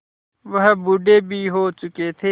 वह बूढ़े भी हो चुके थे